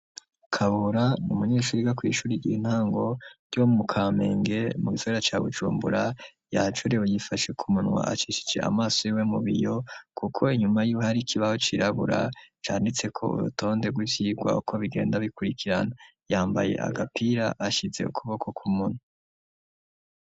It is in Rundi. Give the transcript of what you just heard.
Kabura ni umunyeshuri yiga kw'ishuri ry'intango ryo mu Kamenge, mu gisagara ca Bujumbura, yajorewe yifashe ku munwa acishice amaso yiwe mu biyo, kuko inyuma yiwe hari ikibaho cirabura canditseko urutonde rw'ivyigwa uko bigenda bikurikirana. Yambaye agapira, ashize ukuboko k'umunwa.